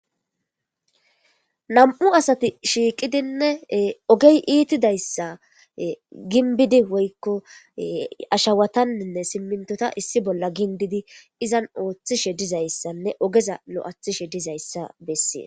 nam7u asati shiiqidinne ogey iitidayssa ginbidi woykko ashawatanninne simmintota issi bolla gindidi izan ooththishe dizayssanne ogeza lo7athishe dizayssa bessees